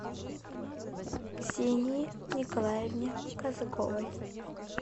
ксении николаевне казаковой